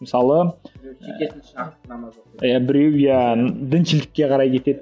мысалы біреу иә діншілдікке қарай кетеді